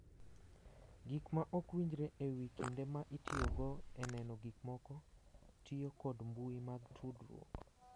Gik ma ok winjre e wi kinde ma itiyogo e neno gik moko, tiyo kod mbui mag tudruok,